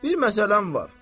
Bir məsələm var.